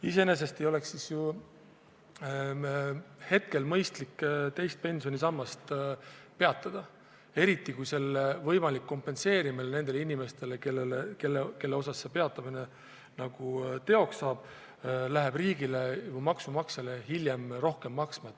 Iseenesest ei oleks siis ju mõistlik teist pensionisammast peatada, eriti kui selle võimalik kompenseerimine nendele inimestele, kelle puhul see peatamine teoks saab, läheb riigile, maksumaksjale hiljem rohkem maksma.